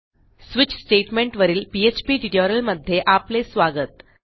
switch statement वरीलPHP ट्युटोरियलमध्ये आपले स्वागत